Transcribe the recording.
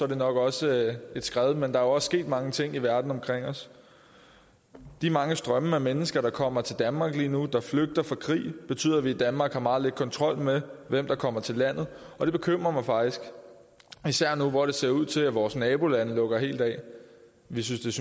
det nok også et skred men der også sket mange ting i verden omkring os de mange strømme af mennesker der kommer til danmark lige nu der flygter fra krig betyder at vi i danmark har meget lidt kontrol med hvem der kommer til landet og det bekymrer mig faktisk især nu hvor det ser ud til at vores nabolande lukker helt af vi synes